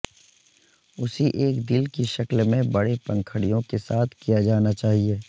اسی ایک دل کی شکل میں بڑے پنکھڑیوں کے ساتھ کیا جانا چاہئے